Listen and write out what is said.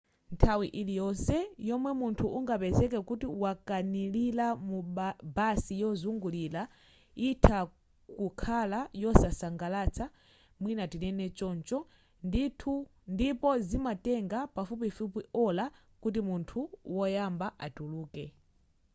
nthawi liyonse yomwe munthu ungapezeke kuti wakanilira mu basi yozungulira yitha kukhala yosasangalatsa mwina tinene choncho ndipo zimatenga pafupifupi ola kuti munthu woyamba atuluke